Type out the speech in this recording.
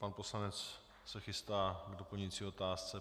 Pan poslanec se chystá k doplňující otázce.